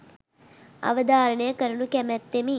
අවධාරණය කරනු කැමැත්තෙමි